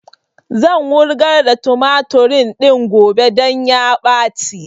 Zan wurgar da tumatur din gobe don ya ɓaci